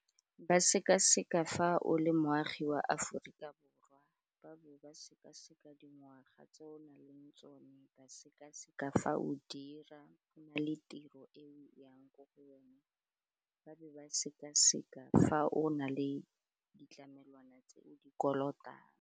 Ba sekaseka fa o le moagi wa Aforika Borwa ba ba sekaseka dingwaga tse o nang le tsone, ba sekaseka fa o dira le tiro e o yang ko go yone ba be ba sekaseka fa o na le ditlamelwana tse o di kolotang.